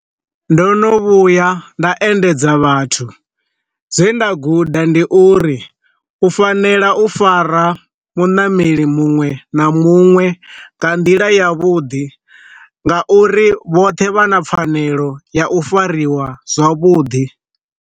Ndo no vhuya nda endedza vhathu, zwe nda guda ndi uri u fanela u fara muṋameli muṅwe na muṅwe nga nḓila ya vhuḓi nga uri vhoṱhe vha na pfanelo ya u fariwa zwavhuḓi.